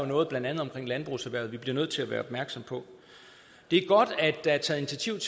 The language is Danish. noget blandt andet omkring landbrugserhvervet som vi bliver nødt til at være opmærksom på det er godt at der er taget